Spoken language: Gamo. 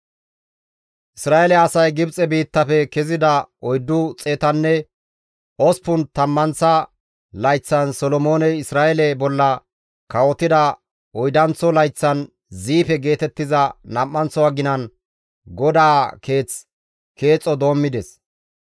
Isra7eele asay Gibxe biittafe kezida oyddu xeetanne osppun tammanththa layththan Solomooney Isra7eele bolla kawotida oydanththo layththan Ziife geetettiza nam7anththo aginan GODAA Keeth keexo doommides.